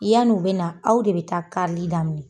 Yann'u bɛ na aw de bɛ taa karili daminɛ.